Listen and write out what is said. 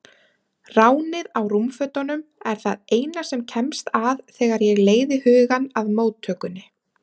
Ránið á rúmfötunum er það eina sem kemst að þegar ég leiði hugann að móttökunni.